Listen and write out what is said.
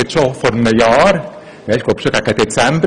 Es war vor etwa einem Jahr, es ging schon gegen Dezember.